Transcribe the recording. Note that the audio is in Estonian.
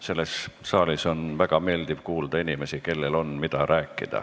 Selles saalis on väga meeldiv kuulda inimesi, kellel on, mida rääkida.